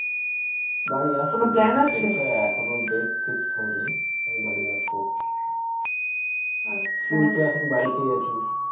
বাড়ি আসবো সেটা এখিনও date fixed হয়নি. তবে বাড়ি আসবো. তুই কি এখনও বাড়িতেই আছিস?